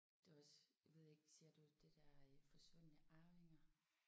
Det var også jeg ved ikke ser du det der øh Forsvundne arvinger?